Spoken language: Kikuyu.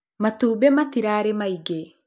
Matumbĩ matiratĩ maingĩ.